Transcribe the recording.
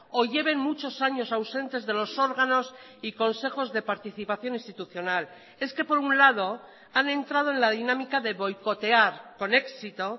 o lleven muchos años ausentes de los órganos y consejos de participación institucional es que por un lado han entrado en la dinámica de boicotear con éxito